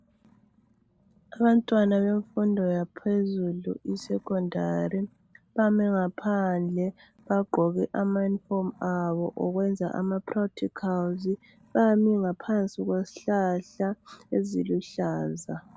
Abantwana bemfundo yaphezulu isekhondari bame ngaphandle bagqoke amayunifomu abo okwenza ama practikhalizi. Bame ngaphansi kwesihlahla eziluhlaza.